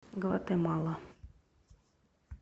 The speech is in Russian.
гватемала